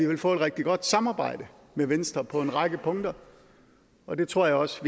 vil få et rigtig godt samarbejde med venstre på en række punkter og det tror jeg også